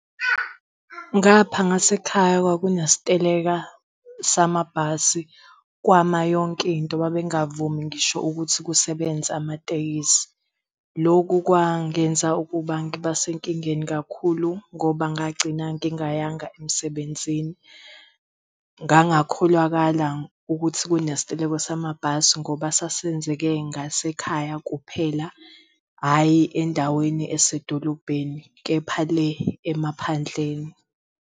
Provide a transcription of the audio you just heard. Ngapha ngasekhaya kwakunesiteleka samabhasi kwama yonkinto babengavumi ngisho ukuthi kusebenze amatekisi. Loku kwangenza ukuba ngiba senkingeni kakhulu ngoba ngagcina ngingayanga emsebenzini. Ngangakholakala ukuthi kunesiteleka samabhasi ngoba sasenzeke ngasekhaya kuphela hhayi endaweni esedolobheni, kepha le emaphandleni.